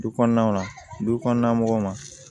Du kɔnɔnaw na du kɔnɔna mɔgɔw ma